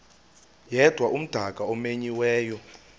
yedwa umdaka omenyiweyo